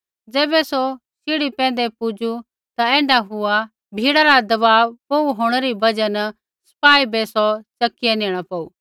ज़ैबै सौ शीढ़ी पैंधै पुजू ता ऐण्ढा हुआ कि भीड़ा रा दवाब बोहू होंणै री बजहा न सपाई बै सौ च़किआ नेणा पौऊ